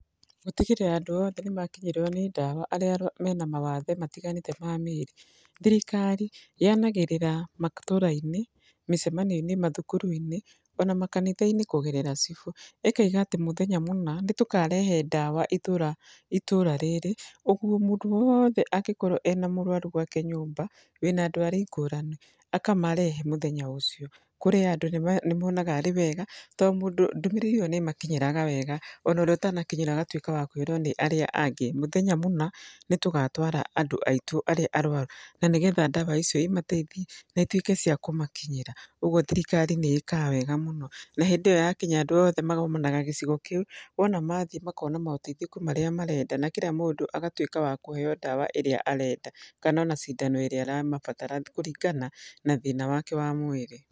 Gũtigĩrĩra andũ othe nĩ makinyĩrwo nĩ ndawa arĩa mena mawathe matiganĩte ma mĩĩrĩ. Thirikari yanagĩrĩra matũũra-inĩ, mĩcemanio-inĩ, mathukuru-inĩ, ona makanitha-inĩ kũgerera cibũ. ĩkaiga atĩ mũthenya mũna, nĩ tũkarehe ndawa itũũra itũũra rĩrĩ. Ũguo mũndũ wothe angĩkorwo ena mũrwaru gwake nyũmba, wĩna ndwari ngũrani, akamarehe mũthenya ũcio. Kũrĩ andũ nĩ monaga arĩ wega, to mũndũ ndũmĩrĩri ĩyo nĩ ĩmakinyĩraga wega. Ona ũrĩa ũtanakinyĩra agatuĩka a kwĩrwo nĩ arĩa angĩ. Mũthenya mũna nĩ tũgatwara andũ aitũ arĩa arwaru. Na nĩgetha ndawa icio imateithie, na ituĩke cia kũmakinyĩra. Ũguo thirikari nĩ ĩkaga wega mũno. Na hĩndĩ ĩyo yakinya andũ othe magomanaga gĩcigo kĩu, wona mathiĩ makona maũteithĩku marĩa marenda. Na kira mũndũ agatuĩka wa kũheo ndawa ĩrĩa arenda kana ona cindano ĩrĩa aramabatara kũringana na thĩna wake wa mwĩrĩ.